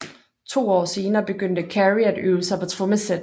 To år senere begyndte Carey at øve sig på trommesæt